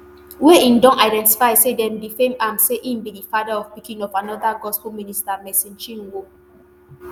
wey im don identify say dem defame am say im be di father of pikin of anoda gospel minister mercy chinwo